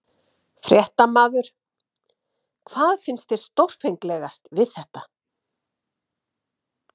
Fréttamaður: Hvað finnst þér stórfenglegast við þetta?